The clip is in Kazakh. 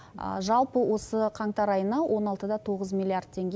жалпы осы қаңтар айына он алтыда тоғыз миллиард теңге